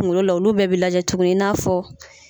Kungolo la olu bɛɛ bɛ lajɛ tuguni i n'a fɔ